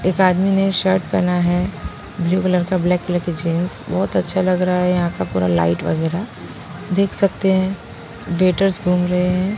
एक आदमी ने शर्ट पहना है ब्लू कलर का ब्लैक कलर की जींस बहुत अच्छा लग रहा हैयहां का पूरा लाइट वगैरा देख सकते हैं र्स घूम रहे हैं।